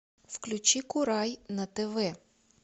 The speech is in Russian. включи курай на тв